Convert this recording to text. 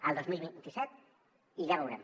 el dos mil vint set i ja veurem